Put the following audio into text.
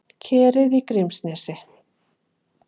Kerið í Grímsnesi.